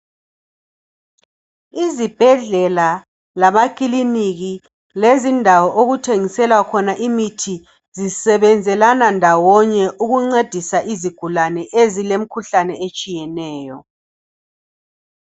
Izibhedlela lamakiliniki lezindawo okuthengiselwa khona imithi zisebenzelana ndawonye ukuncedisa izigulane ezilemkhuhlane etshiyeneyo.